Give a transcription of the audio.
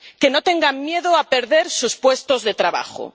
Que no tengan miedo a perder sus puestos de trabajo.